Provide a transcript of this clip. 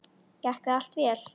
Gekk það allt vel.